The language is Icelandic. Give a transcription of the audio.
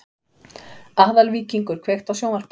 Aðalvíkingur, kveiktu á sjónvarpinu.